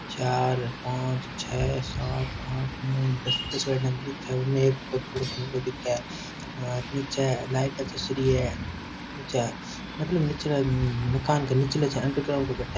चार पांच छः सात आठ नौ दस दस गाड़िया तो दिखे है उन एक को थोड़ो सो मुंडो दिखे निचे लाइटे चस री है निचे मतलब नीचे मकान के निचले से अंडरग्राउंडो रो बठे।